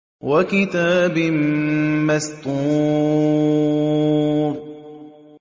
وَكِتَابٍ مَّسْطُورٍ